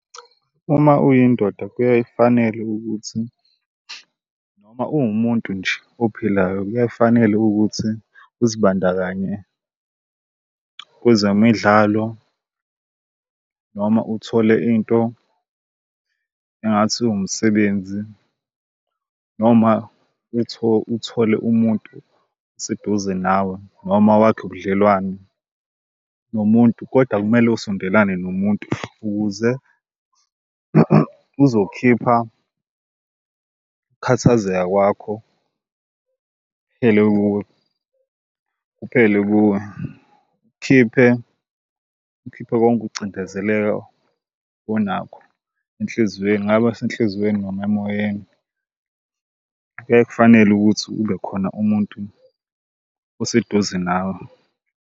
Uma uyindoda, kuyayifanela ukuthi noma uwumuntu nje ophilayo kuyayifanela ukuthi uzibandakanye kwezemidlalo noma uthole into engathi umsebenzi noma uthole umuntu oseduze nawe noma wakhe ubudlelwane nomuntu kodwa kumele usondelana nomuntu ukuze uzokhipha ukukhathazeka kwakho, kuphele kuwe kuphele kuwe. Ukhiphe ukhiphe konke ukucindezeleka onakho enhliziweni kungaba senhliziyweni noma emoyeni. Kuyaye kufanele ukuthi ube khona umuntu oseduze nawe.